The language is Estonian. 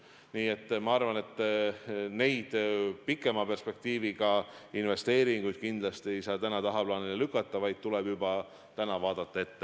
Nii et ma arvan, et neid pikema perspektiiviga investeeringuid kindlasti ei saa tagaplaanile lükata, vaid tuleb juba täna vaadata ettepoole.